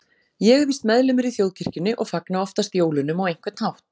Ég er víst meðlimur í þjóðkirkjunni og fagna oftast jólunum á einhvern hátt.